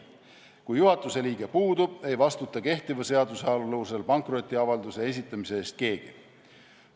Kui juhatuse liige puudub, ei vastuta kehtiva seaduse alusel pankrotiavalduse esitamise eest keegi.